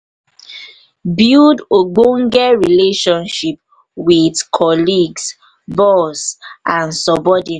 build ogbonge relationship with colleagues boss and subordinate